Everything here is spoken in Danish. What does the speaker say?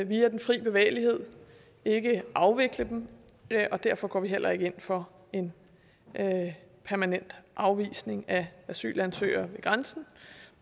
via den fri bevægelighed ikke afvikle dem og derfor går vi heller ikke ind for en permanent afvisning af asylansøgere ved grænsen